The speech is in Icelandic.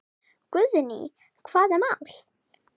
Guðný: Hvaða mál?